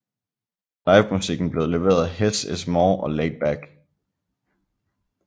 Livemusikken blev leveret af Hess is More og Laid Back